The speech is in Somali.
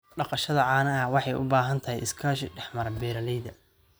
Dhaqashada caanaha waxay u baahan tahay iskaashi dhexmara beeralayda.